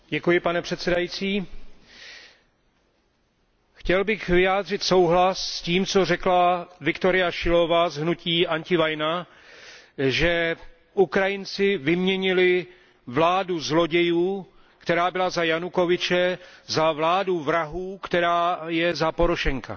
Pane předsedající, chtěl bych vyjádřit souhlas s tím, co řekla Viktoria Šilova z hnutí Antiválka, že Ukrajinci vyměnili vládu zlodějů, která byla za Janukovyče, za vládu vrahů, která je za Porošenka.